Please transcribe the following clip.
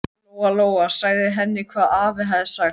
Lóa Lóa sagði henni hvað afi hafði sagt.